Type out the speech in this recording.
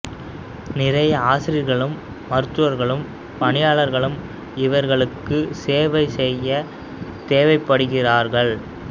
நிறைய ஆசிரியர்களும் மருத்துவர்களும் பணியாளர்களும் இவர்களுக்கு சேவை செய்ய தேவைப்படுகிறார்கள்